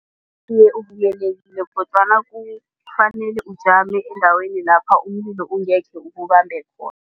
Iye, uvikelekile kodwana kufanele ujame endaweni lapha umlilo ungekhe ukubambe khona.